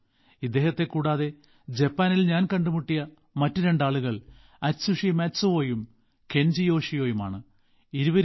ഇദ്ദേഹത്തെക്കൂടാതെ ജപ്പാനിൽ ഞാൻ കണ്ടുമുട്ടിയ മറ്റ് രണ്ട് ആളുകൾ അറ്റ്സുഷി മാറ്റ്സുവോയും കെൻജി യോഷിയുമാണ് ഇരുവരും